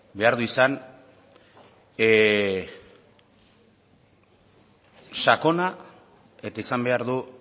behar du izan sakona eta izan behar du